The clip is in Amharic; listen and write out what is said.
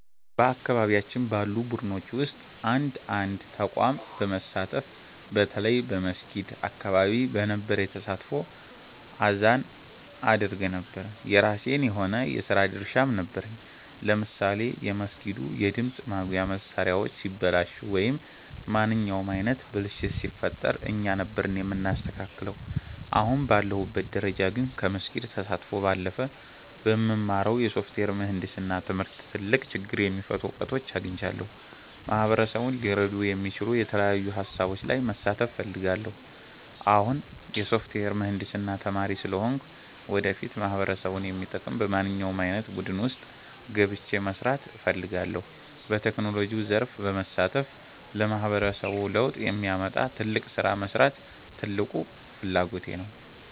በአካባቢያችን ባሉ ቡድኖች ውስጥ እንደ አንድ ተቋም በመሳተፍ፣ በተለይ በመስጊድ አካባቢ በነበረኝ ተሳትፎ አዛን አደርግ ነበር። የራሴ የሆነ የሥራ ድርሻም ነበረኝ፤ ለምሳሌ የመስጊዱ የድምፅ ማጉያ መሣሪያዎች ሲበላሹ ወይም ማንኛውም ዓይነት ብልሽት ሲፈጠር እኛ ነበርን የምናስተካክለው። አሁን ባለሁበት ደረጃ ግን፣ ከመስጊድ ተሳትፎ ባለፈ በምማረው የሶፍትዌር ምህንድስና ትምህርት ትልቅ ችግር የሚፈቱ እውቀቶችን አግኝቻለሁ። ማህበረሰቡን ሊረዱ የሚችሉ የተለያዩ ሃሳቦች ላይ መሳተፍ እፈልጋለሁ። አሁን የሶፍትዌር ምህንድስና ተማሪ ስለሆንኩ፣ ወደፊት ማህበረሰቡን የሚጠቅም በማንኛውም ዓይነት ቡድን ውስጥ ገብቼ መሥራት እፈልጋለሁ። በቴክኖሎጂው ዘርፍ በመሳተፍ ለማህበረሰቡ ለውጥ የሚያመጣ ትልቅ ሥራ መሥራት ትልቁ ፍላጎቴ ነው።